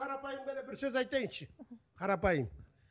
қарапайым ғана бір сөз айтайыншы қарапайым